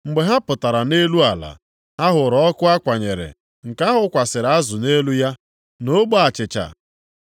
Mgbe ha pụtara nʼelu ala, ha hụrụ ọkụ a kwanyere, nke a hụkwasịrị azụ nʼelu ya na ogbe achịcha.